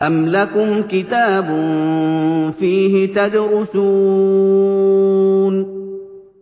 أَمْ لَكُمْ كِتَابٌ فِيهِ تَدْرُسُونَ